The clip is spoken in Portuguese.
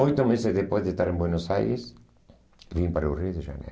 Oito meses depois de estar em Buenos Aires, vim para o Rio de Janeiro.